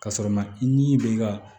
Ka sɔrɔ ma i ni bɛ i ka